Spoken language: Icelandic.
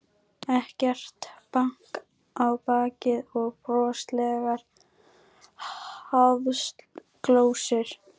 Ekkert bank á bakið og broslegar háðsglósur.